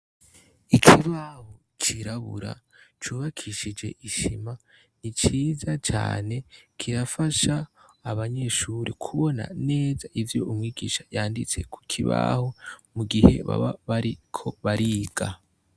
ikibaho cirabura cyubakishije isima ni ciza cyane kirafasha abanyeshuri kubona neza ibyo umwigisha yanditse ku kibaho mu gihe baba bariko bariga.